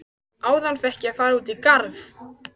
Áðan fékk ég að fara út í garð.